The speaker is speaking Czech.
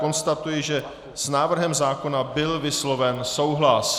Konstatuji, že s návrhem zákona byl vysloven souhlas.